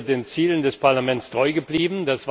Sie ist den Zielen des Parlaments treu geblieben.